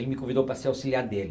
Ele me convidou para ser auxiliar dele.